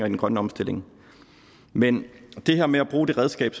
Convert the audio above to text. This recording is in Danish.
den grønne omstilling men det her med at bruge det redskab